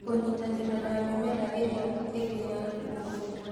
Kũnyitanĩra na mĩmera ĩrĩa ĩngĩ ya mũgũnda